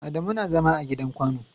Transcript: Adamu na zama a gidan kwano.